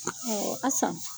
Asan